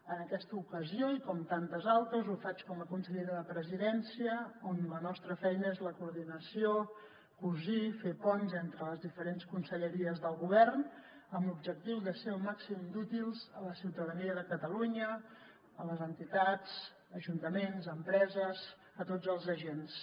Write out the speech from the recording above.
en aquesta ocasió i com en tantes altres ho faig com a consellera de la presidència on la nostra feina és la coordinació cosir i fer ponts entre les diferents conselleries del govern amb l’objectiu de ser el màxim d’útils a la ciutadania de catalunya a les entitats ajuntaments empreses a tots els agents